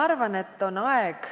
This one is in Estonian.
Aitäh!